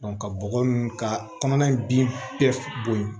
ka bɔgɔ ninnu ka kɔnɔna bin bɛɛ bo ye